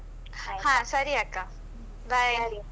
ಹಾ ಸರಿ ಅಕ್ಕ. bye .